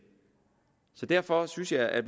derfor synes jeg at